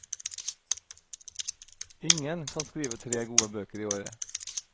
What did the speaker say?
Ingen kan skrive tre gode bøker i året.